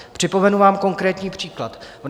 Připomenu vám konkrétní příklad.